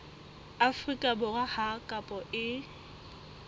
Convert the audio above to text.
afrika borwa ha kopo e